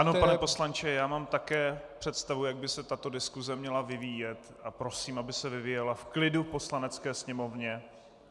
Ano, pane poslanče, já mám také představu, jak by se tato diskuse měla vyvíjet, a prosím, aby se vyvíjela v klidu v Poslanecké sněmovně.